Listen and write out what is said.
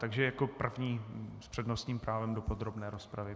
Takže jako první s přednostním právem do podrobné rozpravy.